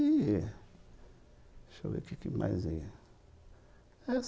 Deixa eu ver o que mais aí.